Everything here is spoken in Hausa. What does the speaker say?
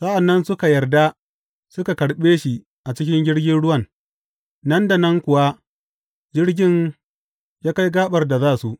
Sa’an nan suka yarda suka karɓe shi a cikin jirgin ruwan, nan da nan kuwa jirgin ya kai gaɓar da za su.